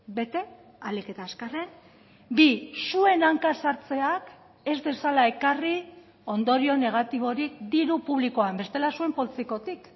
bete ahalik eta azkarren bi zuen hanka sartzeak ez dezala ekarri ondorio negatiborik diru publikoan bestela zuen poltsikotik